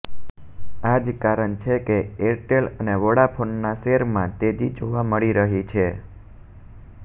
આ જ કારણ છે કે એરટેલ અને વોડાફોનનાં શેરમાં તેજી જોવા મળી રહી છે